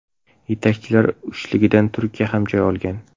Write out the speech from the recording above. Yetakchilar uchligidan Turkiya ham joy olgan.